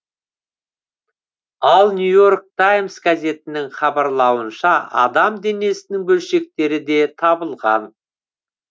ал нью и орк таймс газетінің хабарлауынша адам денесінің бөлшектері де табылған